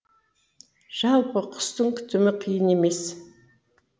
жалпы құстың күтімі қиын емес